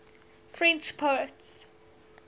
french poets